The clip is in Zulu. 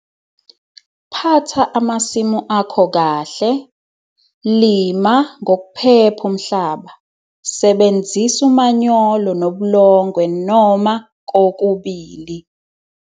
Phatha amasimu akho kahle, lima ngokuphepha umhlaba, sebenzisa umanyolo nobulongwe noma kokubili.